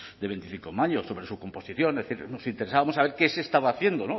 de veinticinco mayo sobre su composición nos interesábamos a ver qué se estaba haciendo